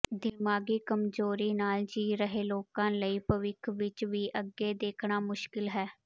ਦਿਮਾਗੀ ਕਮਜ਼ੋਰੀ ਨਾਲ ਜੀ ਰਹੇ ਲੋਕਾਂ ਲਈ ਭਵਿੱਖ ਵਿੱਚ ਵੀ ਅੱਗੇ ਦੇਖਣਾ ਮੁਸ਼ਕਿਲ ਹੈ